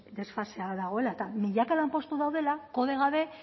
desfasea dagoela eta milaka lanpostu daudela kode gabe